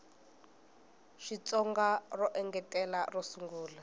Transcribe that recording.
xitsonga ro engetela ro sungula